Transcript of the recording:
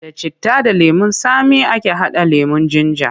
Da citta da lemon tsami ake haɗa lemon jinja.